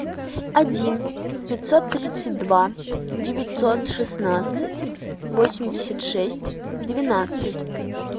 один пятьсот тридцать два девятьсот шестнадцать восемьдесят шесть двенадцать